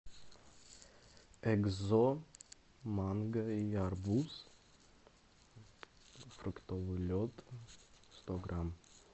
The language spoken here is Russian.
экзо манго и арбуз фруктовый лед сто грамм